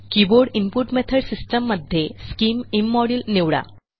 keyboard input method system मध्ये scim IM module निवडा